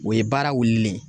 O ye baara wulilen ye